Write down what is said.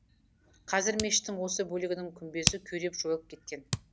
қазір мешіттің осы бөлігінің күмбезі күйреп жойылып кеткен